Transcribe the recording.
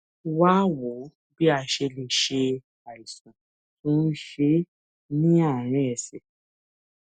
wá a wò bí a ṣe lè ṣe àìsàn tó ń ṣe é ní àárín ẹsè